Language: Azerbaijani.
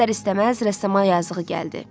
İstər-istəməz rəssama yazığı gəldi.